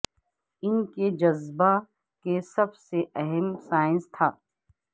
ان کے جذبہ کے سب سے اہم سائنس تھا